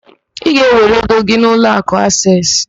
Ị ga-ewere ego gị n'ụlọakụ Aseesị?